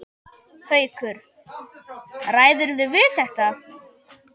Haukur: Ræðirðu við þetta?